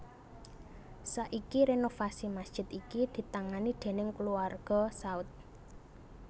Saiki renovasi masjid iki ditangani déning kulawarga Saud